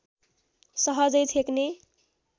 सहजै छेक्ने